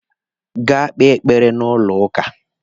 Gaa kpee ekpere n'ụlọ ụka!